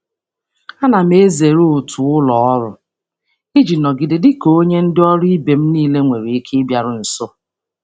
Ana m ezere otu ụlọ ọrụ iji nọgide dị ka onye ndị ọrụ ibe m niile nwere ike ịbịaru nso.